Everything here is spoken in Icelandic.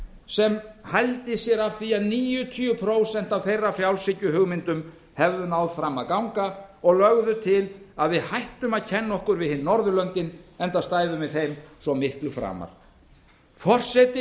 sem hældi sér af því að níutíu prósent af þeirra frjálshyggjuhugmyndum hefðu náð fram að ganga og lögðu til að við hættum að kenna okkur við hin norðurlöndin enda stæðum við þeim svo miklu framar forseti